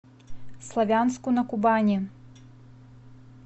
славянску на кубани